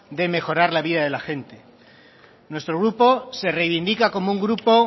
de mejorar la vida de la gente nuestro grupo se reivindica como un grupo